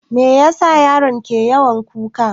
Me yasa yaron ke yawan kuka?